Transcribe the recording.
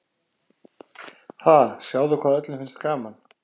Ha, sjáðu hvað öllum finnst gaman.